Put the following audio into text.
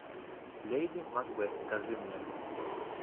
леди макбет покажи мне